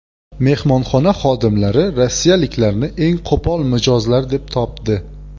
Mehmonxona xodimlari rossiyaliklarni eng qo‘pol mijozlar deb topdi.